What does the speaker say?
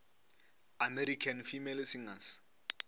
american female singers